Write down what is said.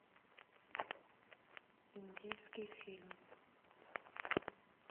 индийский фильм